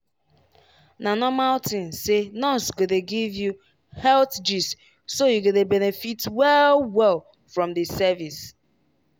na normal thing say nurse go dey give you health gist so you go dey benefit well-well from di service.